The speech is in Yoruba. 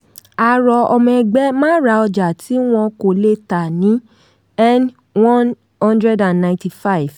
a rọ ọmọ ẹgbẹ́ má ra ọjà tí wọn kò lè tà ní n195.